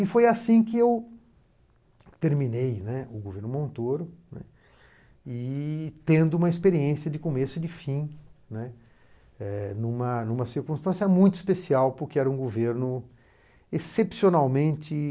E foi assim que eu terminei, né, o governo Montoro, né, e tendo uma experiência de começo e de fim, né, é... numa numa circunstância muito especial, porque era um governo excepcionalmente